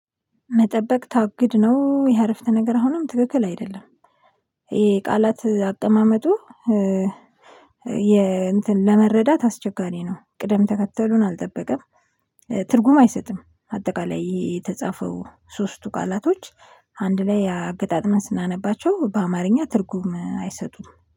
መጠበቅ ታግድ ነው ይ አረፍተ ነገር አሁንም ትክክል አይደለም። ይሄ ቃላት አቀማመጡ የ እንትን ለመረዳት አስቸጋሪ ነው። ቅደም ተከተሉን አልጠበቀም። ትርጉም አይሰጥም አጠቃላይ የተጻፈው ሶስቱ ቃላቶች አንድ ላይ አገጣጥመን ስናነባቸው በአማርኛ ትርጉም አይሰጡም